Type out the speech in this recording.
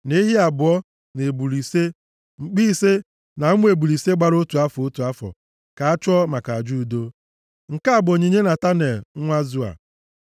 na ehi abụọ, na ebule ise, mkpi ise, na ụmụ ebule ise gbara otu afọ, otu afọ, ka a chụọ maka aja udo. Nke a bụ onyinye Netanel nwa Zua.